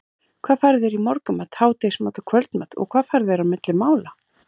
hvað færðu þér í morgunmat, hádegismat og kvöldmat og hvað færðu þér á milli mála?